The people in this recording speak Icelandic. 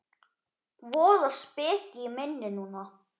Voða speki í minni núna.